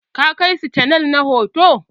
Ka kai sa canal na huɗu.